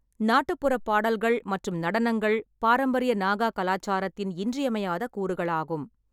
நாட்டுப்புற பாடல்கள் மற்றும் நடனங்கள் பாரம்பரிய நாகா கலாச்சாரத்தின் இன்றியமையாத கூறுகளாகும்.